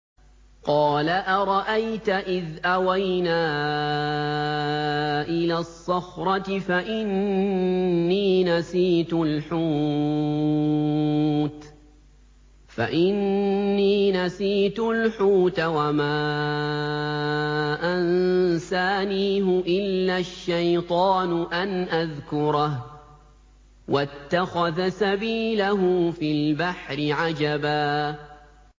قَالَ أَرَأَيْتَ إِذْ أَوَيْنَا إِلَى الصَّخْرَةِ فَإِنِّي نَسِيتُ الْحُوتَ وَمَا أَنسَانِيهُ إِلَّا الشَّيْطَانُ أَنْ أَذْكُرَهُ ۚ وَاتَّخَذَ سَبِيلَهُ فِي الْبَحْرِ عَجَبًا